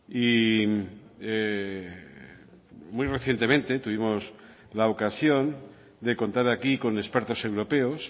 y muy recientemente tuvimos la ocasión de contar aquí con expertos europeos